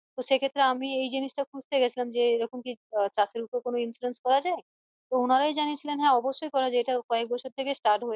তো সেক্ষেত্রে আমি এই জিনিস টা খুঁজতে গেছিলাম যে এরকম কি চাষের ওপর insurance যাই তো উনারাই জানিয়েছিলেন যে হ্যাঁ অবশ্যই করা যাই এটা কয়েক বছর থেকেই start হয়েছে